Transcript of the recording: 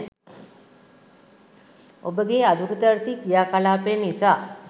ඔබගේ අදූරදර්ශී ක්‍රියාකලාපය නිසා